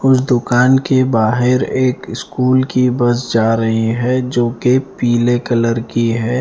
उस दुकान के बाहर एक स्कूल की बस जा रही है जो की पीले कलर की है।